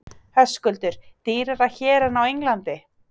Höskuldur: Dýrari hér en á Englandi?